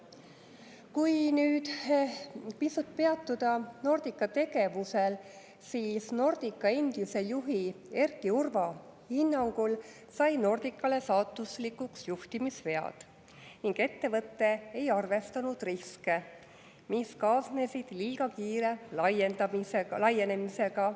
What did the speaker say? Kui nüüd pisut peatuda Nordica tegevusel, siis Nordica endise juhi Erki Urva hinnangul said Nordicale saatuslikuks juhtimisvead ning ettevõte ei arvestanud riske, mis kaasnesid liiga kiire laienemisega.